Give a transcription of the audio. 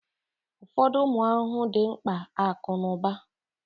Ụfọdụ ụmụ ahụhụ dị mkpa akụ na ụba